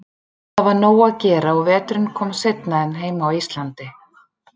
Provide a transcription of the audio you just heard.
Það var nóg að gera og veturinn kom seinna en heima á Íslandi.